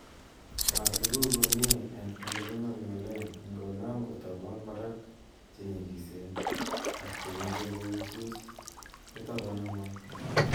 Maa tuguk komie en ele kingolngolen ingonam kotobon barak che nyikisen ak chemoche kousus kotobon ngweny.